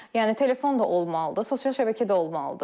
Yəni telefon da olmalıdır, sosial şəbəkə də olmalıdır.